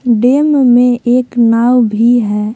Dam में एक नाव भी है।